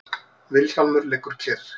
Vilhjálmur liggur kyrr.